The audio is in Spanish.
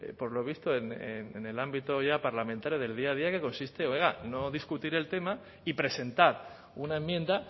por lo visto en el ámbito ya parlamentario del día a día que consiste oiga no discutir el tema y presentar una enmienda